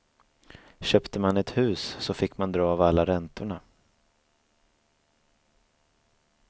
Köpte man ett hus så fick man dra av alla räntorna.